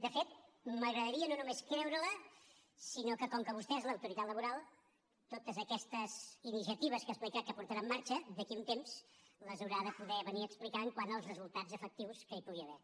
de fet m’agradaria no només creure la sinó que com que vostè és l’autoritat laboral totes aquestes iniciatives que ha explicat que posarà en marxa d’aquí a un temps les haurà de poder venir a explicar quant als resultats efectius que hi pugui haver